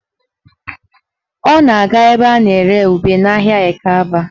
Ọ na-aga ebe a na-ere ube n'ahịa Ekeaba